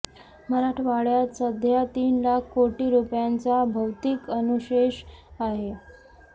मराठवाड्यात सध्या तीन लाख कोटी रुपयांचा भौतिक अनुशेष आहे